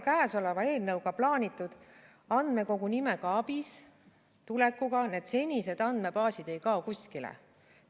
Käesoleva eelnõuga plaanitud andmekogu nimega ABIS tulekuga need senised andmebaasid ei kao kuskile.